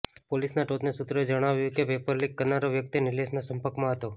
પોલીસના ટોચના સૂત્રોએ જણાવ્યું કે પેપર લીક કરનારો વ્યક્તિ નિલેશના સંપર્કમાં હતો